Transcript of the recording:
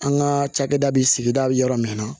An ka cakɛda bi sigida bi yɔrɔ min na